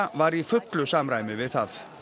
var í fullu samræmi við það